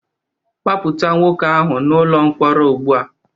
Gbapụta nwoke ahụ n'ụlọ mkpọrọ ugbu a